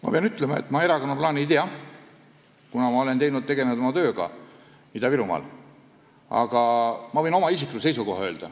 Ma pean ütlema, et ma erakonna plaani ei tea, kuna ma olen tegelenud oma tööga Ida-Virumaal, aga ma võin öelda oma isikliku seisukoha.